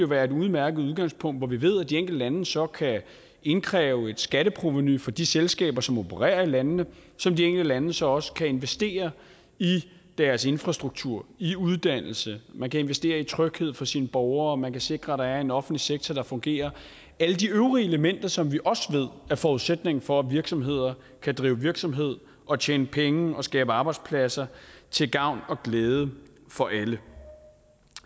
være et udmærket udgangspunkt hvor vi ved at de enkelte lande så kan indkræve et skatteprovenu fra de selskaber som opererer i landene som de enkelte lande så også kan investere i deres infrastruktur i uddannelse man kan investere i tryghed for sine borgere man kan sikre at der er en offentlig sektor der fungerer alle de øvrige elementer som vi også ved er forudsætningen for at virksomheder kan drive virksomhed og tjene penge og skabe arbejdspladser til gavn og glæde for alle